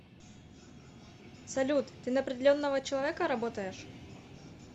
салют ты на определенного человека работаешь